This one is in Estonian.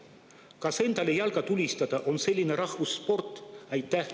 Kas endale jalga tulistada on nagu rahvussport?